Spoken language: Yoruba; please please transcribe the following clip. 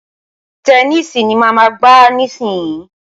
Tẹníìsì ni màá máa gbá nísìnyín.